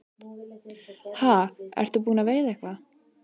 Ha, ertu búinn að veiða eitthvað?